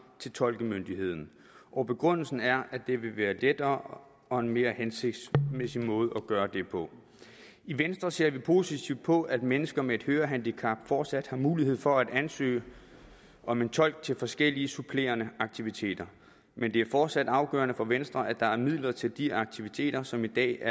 til tolkemyndigheden og begrundelsen er at det vil være lettere og en mere hensigtsmæssig måde at gøre det på i venstre ser vi positivt på at mennesker med et hørehandicap fortsat har mulighed for at ansøge om en tolk til forskellige supplerende aktiviteter men det er fortsat afgørende for venstre at der er midler til de aktiviteter som i dag